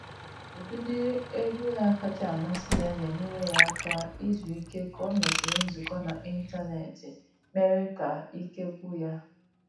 Ụdịdị egwu na-akacha amasị ya na enyere ya aka izu ike ka o mesịrị nzukọ n’ịntanetị mere ka ike gwụ ya